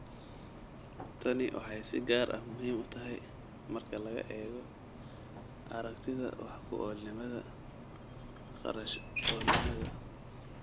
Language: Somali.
Tani waxay si gaar ah muhiim u tahay marka laga eego aragtida wax-ku-oolnimada, kharash-oolnimada.